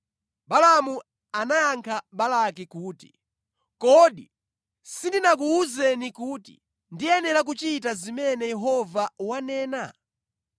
“Balaamu anayankha Balaki kuti, ‘Kodi sindinakuwuzeni kuti ndiyenera kuchita zimene Yehova wanena?’ ”